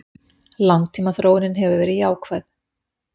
Langtímaþróunin hafi verið jákvæð